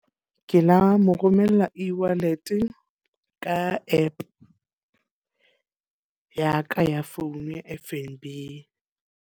Ke la mo romella e-wallet, ka app ya ka ya phone ya F_N_B.